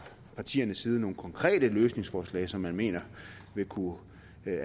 partiernes side har nogle konkrete løsningsforslag som man mener vil kunne